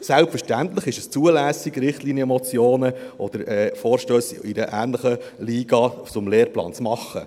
Selbstverständlich ist es zulässig, Richtlinienmotionen oder Vorstösse in einer ähnlichen Liga zum Lehrplan zu machen.